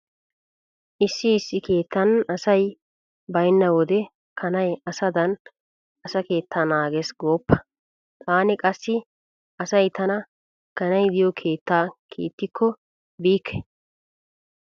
Issi issi keettan asay baynna wode kanay asaadan asa keettaa naagees gooppa. Taani qassi asay tana kanay diyo keettaa kiittikko biikke.